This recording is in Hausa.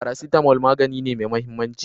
Paracetamol magani ne me mahimmanci